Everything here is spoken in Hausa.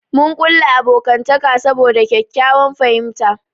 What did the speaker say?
Mun kulla abokantaka saboda ƙyaƙƙyawan fahimta.